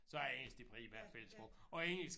Så er engelsk det primære fællessprog og engelsk